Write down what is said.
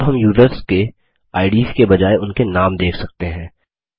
अब हम यूज़र्स के आईडीएस के बजाय उनके नाम देख सकते हैं